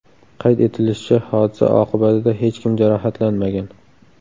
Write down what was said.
Qayd etilishicha, hodisa oqibatida hech kim jarohatlanmagan.